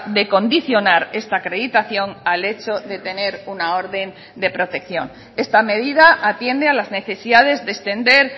de condicionar esta acreditación al hecho de tener una orden de protección esta medida atiende a las necesidades de extender